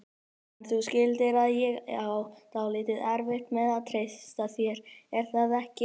En þú skilur að ég á dálítið erfitt með að treysta þér, er það ekki?